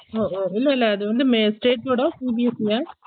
ஓ ஹோ இல்ல இல்ல அது வந்து மே state board ஆ CBSE ஆ